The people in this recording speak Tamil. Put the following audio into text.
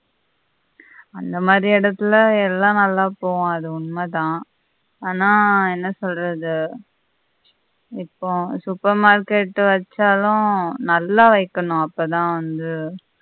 அந்த மாதி இடத்தில எல்லாம் நல்லா போகும் அது உண்ம தான் ஆனா என்ன சொல்றது இப்போ supermarket வச்சாலும் நல்லா வெக்கணும் அப்பதான் அது